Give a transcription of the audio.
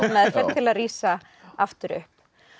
til að rísa aftur upp